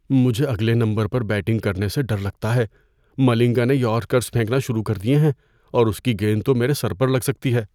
مجھے اگلے نمبرپر بیٹنگ کرنے سے ڈر لگتا ہے۔ ملنگا نے یارکرز پھینکنا شروع کر دیے ہیں اور اس کی گیند تو میرے سر پر لگ سکتی ہے۔